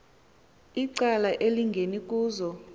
icala elingeni kuzo